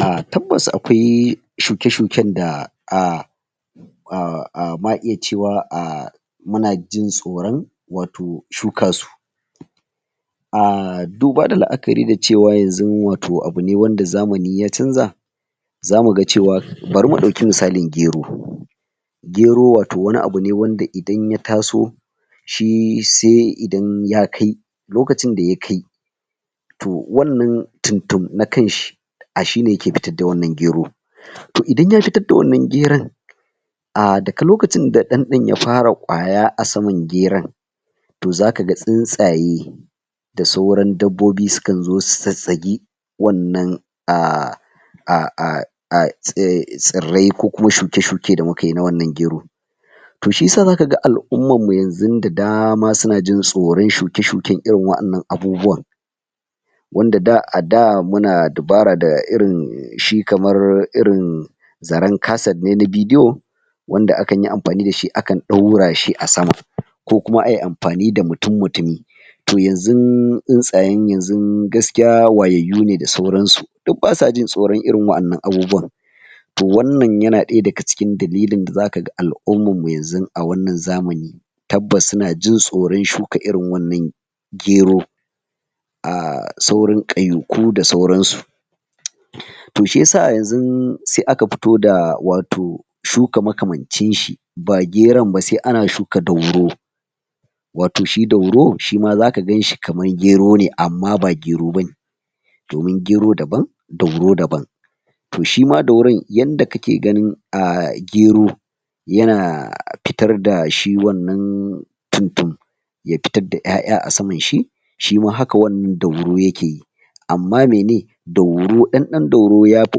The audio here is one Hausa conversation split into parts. A tabbas akwai shuke-shuken da a ma iya cewa muna jin tsoron wato shukasu. duba da la'akari da cewa wato abu ne wanda zamani ya canza zamuga cewa bari mu ɗauki misali gero, gero wato wani abu ne wanda idan ya taso shi sai idan ya kai, lokacin da ya kai to wannan tum-tum na kanshi, a shine yake fitar da wannan gero. To idan ya fitar da wannan geron a daga lokacin da ɗan ɗan ya fara ƙwaya a saman geron, to zakaga tsuntsaye da sauran dabbobi sukanzo su zazzagi wannan tsirrai ko kuma shuke-shuke da mukayi na wannan gero, To shiyasa zakaga al'ummarmu yanzun da dama suna jin tsoron shuke-shuken irin wa innan abubuwa wanda a da muna dubara da irin shi kamar irin zaren kaset [casset] ne na bidiyo wanda akanyi amfani dashi, akan ɗaurashi a sama ko kuma ayi amfani da mutum-mutumi to yanzun, tsuntsayen yanzun gaskiya wayayyu ne da sauransu duk basa jin tsoron irin waɗannan abubuwan To wannan yana ɗaya daga cikin dalilin da zakaga al'ummarmu yanzu a wannan zamani tabbas suna jin tsoron shuka irin wannan gero. sauran ƙauyaku da sauransu to shiyasa a yanzun sai aka fito da wato shuka makamancinshi ba geron ba, sai ana shuka dauro wato shi dauro, shima zaka ganshi kamar gero ne amma ba gero bane domin gero daban dauro daban. To shima dauron yanda kake ganin gero yana fitar da shi wannan tum-tum ya fitar da ƴaƴa a samanshi shima haka wannan dauro yakeyi amma mene dauro, ɗan ɗan dauro yafi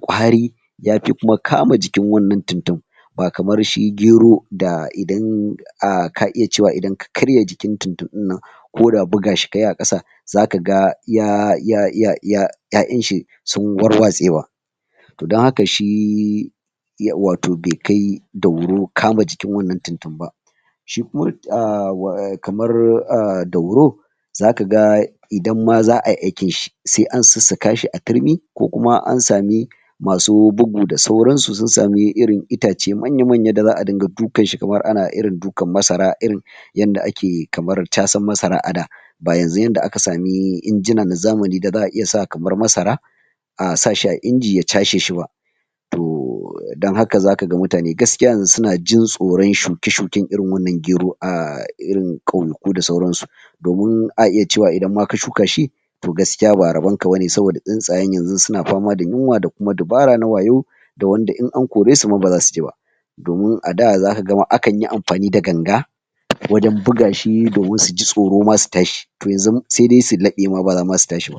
ƙwari yafi kuma kama jikin wannan tum-tum ba kamar shi gero da idan ka ka iya cewa idan ka karya jin tum-tum ɗinnan koda bugashi kayi a ƙasa zakaga ya ya ya ya ƴaƴanshi sun warwatsewa to don haka shi wato bai kai dauro kama jikin wannan tum-tum ba shikuman kamar dauro zakaga idan ma za'ayi aikinshi, sai an sussukashi a turmi ko kuma an sami masu bugu da sauransu sun sami irin ita ce manya-manya da za'a ringa dukanshi kamar ana dukan masara irin yanda ake kamar casan masara a da ba yanzu inda aka sami injina na zamani da za'a iya sa kamar masara a sashi a inji ya casheshi ba to don haka zakaga mutane gaskiya yanzu suna jin tsoron shuke-shuken irin wannan gero, a irin ƙauyaku da sauransu. domin a iya cewa ma idan ka shukashi, to gaskiya ba rabonka bane, saboda tsuntsayen yanzun suna fama da yunwa da kuma dubara na wayau ta yanda wanda in an koresu ma baza suji ba. Domin a da zakaga ma akanyi amfani da ganga, ko don bugashi domin suji tsoro ma su tashi, to yanzun sai dai su laɓe ma bama zasu tashi ba.